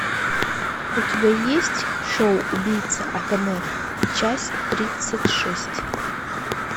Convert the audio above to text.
у тебя есть шоу убийца акаме часть тридцать шесть